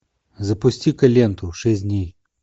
запусти ка ленту шесть дней